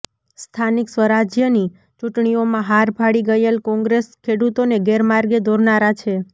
સ્થાનિક સ્વરાજયની ચુંટણીઓમાં હાર ભાળી ગયેલ કોંગ્રેસ ખેડૂતોને ગેરમાર્ગે દોરનારા છે